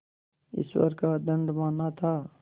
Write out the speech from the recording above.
ईश्वर का दंड माना था